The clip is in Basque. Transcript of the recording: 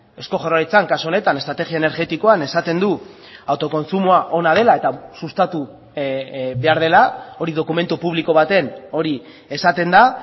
eusko jaurlaritzan kasu honetan estrategia energetikoan esaten du autokontsumoa ona dela eta sustatu behar dela hori dokumentu publiko baten hori esaten da